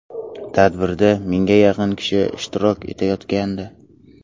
Tadbirda mingga yaqin kishi ishtirok etayotgandi.